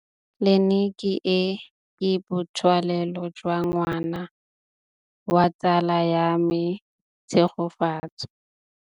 Tleliniki e, ke botsalêlô jwa ngwana wa tsala ya me Tshegofatso.